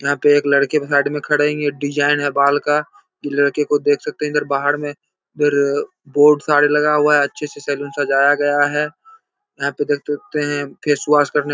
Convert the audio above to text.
यहाँ पे एक लड़के के साइड में खड़े है। ये डिजाईन है बाल का लड़के को देख सकते हैं इधर बाहर में फिर बोर्ड सारे लगा हुआ है| अच्छे से सैलून सजाया गया है। यहाँ पे देख सकते है फेस वाश करने --